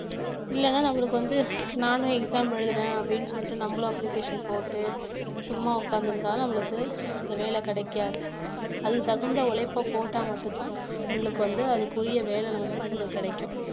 இல்லைன்னா நம்மளுக்கு வந்து நானும் exam எழுதுறேன் அப்படின்னு சொல்லிட்டு நம்மளும் application போட்டு சும்மா உட்கார்ந்து இருந்தாலும் நம்மளுக்கு இந்த வேலை கிடைக்காது அதுக்கு தகுந்த உழைப்பை போட்டா மட்டும்தான் நம்மளுக்கு வந்து அதுக்குரிய வந்து நம்மளுக்கு கிடைக்கும்